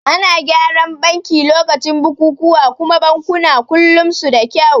Ana gyaran banki lokacin bukukuwa kuma bankuna kullum suda kyau